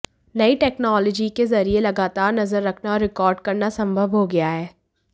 नयी टेक्नॉलॅजी के ज़रिये लगातार नज़र रखना और रिकॉर्ड करना सम्भव हो गया है